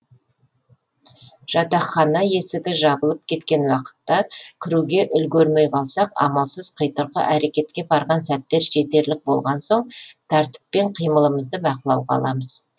жатахана есігі жабылып кеткен уақытта кіруге үлгермей қалсақ амалсыз құйтырқы әрекетке барған сәттер жетерлік болған соң тәртіппен қимылымызды бақылауға аламыз